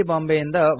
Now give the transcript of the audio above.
ಬಾಂಬೆಯಿಂದ ವಾಸುದೇವ